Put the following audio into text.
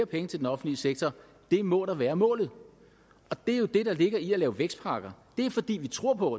penge til den offentlige sektor det må da være målet det er jo det der ligger i at lave vækstpakker det er fordi vi tror på